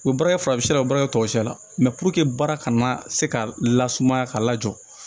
U bɛ baara kɛ farafinna baara in tɔgɔ sira la mɛ puruke baara kana se ka lasumaya ka lajɔ